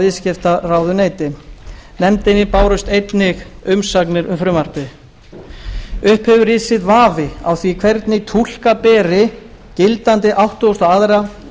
viðskiptaráðuneyti nefndinni bárust einnig umsagnir um frumvarpið upp hefur risið vafi á því hvernig túlka beri gildandi áttugasta og aðra